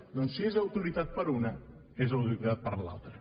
doncs si és autoritat per una és autoritat per l’altra